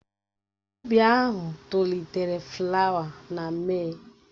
Ụbi ahụ tolitere flawa na Mee.